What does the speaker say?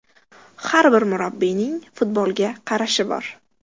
Har bir murabbiyning futbolga qarashi bor.